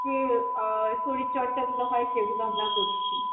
যে আহ শরীরচর্চাগুলো হয় সেগুলো আমরা করছি।